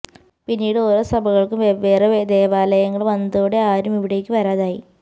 പിന്നീട് ഓരോ സഭകള്ക്കും വെവ്വേറെ ദേവാലയങ്ങള് വന്നതോടെ ആരും ഇവിടേക്ക് വരാതായി